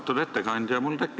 Austatud ettekandja!